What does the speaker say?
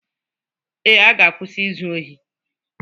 Ee, m ga-akwụsị izu ohi